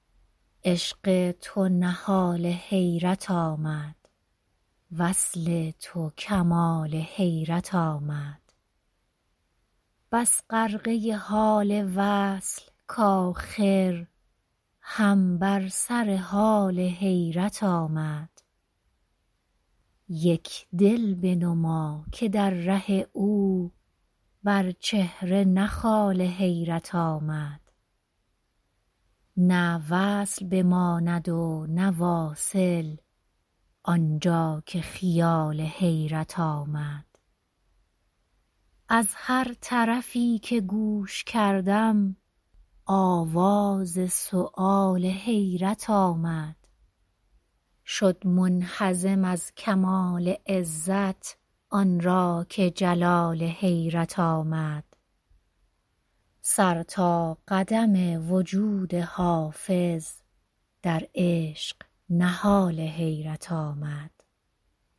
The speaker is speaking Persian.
عشق تو نهال حیرت آمد وصل تو کمال حیرت آمد بس غرقه حال وصل کآخر هم بر سر حال حیرت آمد یک دل بنما که در ره او بر چهره نه خال حیرت آمد نه وصل بماند و نه واصل آن جا که خیال حیرت آمد از هر طرفی که گوش کردم آواز سؤال حیرت آمد شد منهزم از کمال عزت آن را که جلال حیرت آمد سر تا قدم وجود حافظ در عشق نهال حیرت آمد